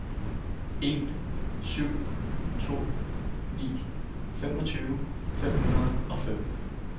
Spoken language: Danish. en syv to ni femogtyve fem hundrede og fem